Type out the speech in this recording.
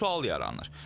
Sual yaranır.